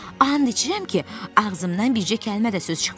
And içirəm ki, ağzımdan bircə kəlmə də söz çıxmaz.